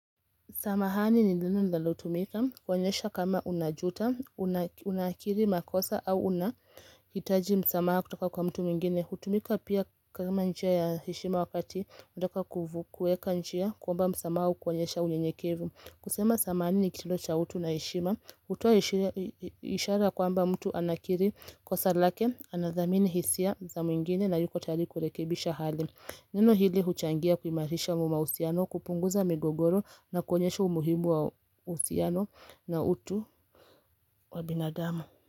Samahani ni neno linalotumika, kuonyesha kama unajuta, unakiri makosa au unahitaji msamaha kutoka kwa mtu mwingine. Hutumika pia kama njia ya heshima wakati, unataka kuvu, kueka njia, kwamba msamaha au kuonyesha uyenyekevu. Kusema samahani ni kitendo cha utu na heshima, hutoa ishara kwamba mtu anakiri kosa lake, anadhamini hisia za mwingine na yuko tayari kurekebisha hali. Neno hili huchangia kuimatisha mahusiano kupunguza migogoro na kuonyesha umuhimu wa uhusiano na utu wa binadamu.